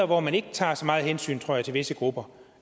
hvor man ikke tager så meget hensyn tror jeg til visse grupper